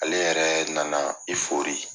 Ale yɛrɛ nana i fori